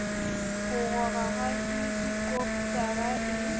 ho rora ha helikopotara e